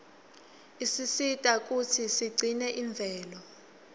isisita kutsi sigcine imvelo